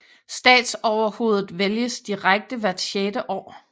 Statsoverhovedet vælges direkte hvert sjette år